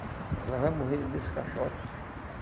Ela vai morrer dentro desse caixote.